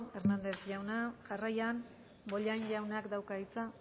hernández jauna jarraian bollain jaunak dauka hitza